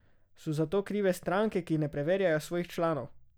So za to krive stranke, ki ne preverjajo svojih članov?